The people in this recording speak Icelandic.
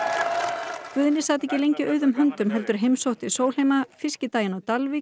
sat ekki lengi auðum höndum heldur heimsótti Sólheima fiskidaginn á Dalvík og ávarpaði